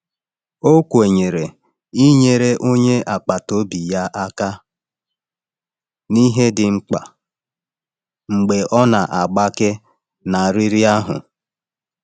Ọ kwere inyere onye agbata obi ya aka n’ihe dị mkpa mgbe ọ na-agbake na riri ahụ.